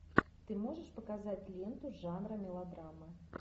ты можешь показать ленту жанра мелодрама